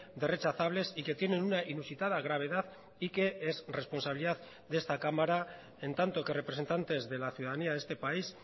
de rechazables y que tienen una inusitada gravedad y que es responsabilidad de esta cámara en tanto que representantes de la ciudadanía de este país